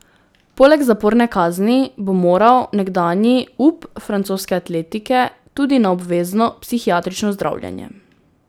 Poleg zaporne kazni bo moral nekdanji up francoske atletike tudi na obvezno psihiatrično zdravljenje.